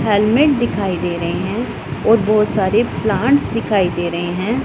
Helmet दिखाई दे रहे हैं और बहुत सारे प्लांट्स दिखाई दे रहे हैं।